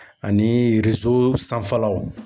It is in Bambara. Ani riso sanfɛlaw.